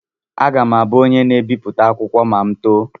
Aga m abụ onye na-ebipụta akwụkwọ ma m too.